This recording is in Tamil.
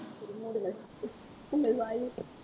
சரி மூடுங்க உங்கள் வாயில்,